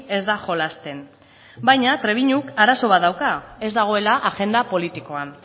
ez da jolasten baina trebiñuk arazo bat dauka ez dagoela agenda politikoan